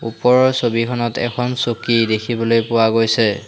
ওপৰৰ ছবিখনত এখন চকী দেখিবলৈ পোৱা গৈছে।